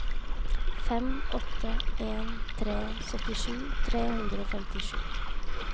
fem åtte en tre syttisju tre hundre og femtisju